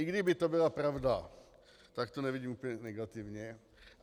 I kdyby to byla pravda, tak to nevidím úplně negativně.